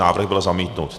Návrh byl zamítnut.